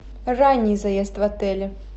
ранний заезд в отеле